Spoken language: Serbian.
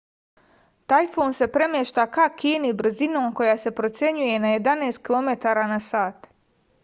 tajfun se premešta ka kini brzinom koja se procenjuje na 11 km/h